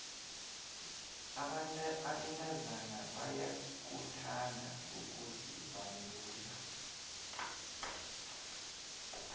abentazana bayakuthanda ukuzibandula